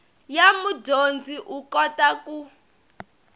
ya mudyondzi u kota ku